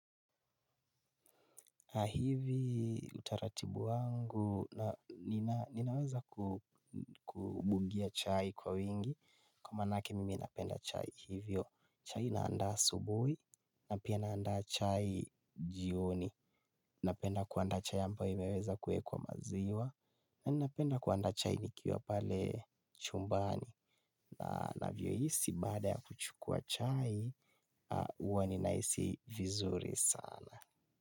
Na hivi utaratibu wangu na ninaweza kubungia chai kwa wingi. Kwa manake mimi napenda chai hivyo. Chai naanda asubuhi, na pia naanda chai jioni. Napenda kuandaa chai ambayo imeweza kuwekwa maziwa. Na ninapenda kuandaa chai nikiwa pale chumbani. Na ninavyohisi baada ya kuchukua chai, huwa ninahisi vizuri sana.